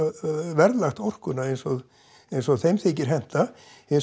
verðlagt orkuna eins og eins og þeim þykir henta hins